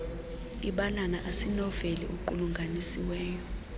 ibalana asinoveli equlunganisiweyo